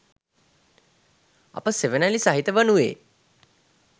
අප සෙවනැලි සහිත වනුයේ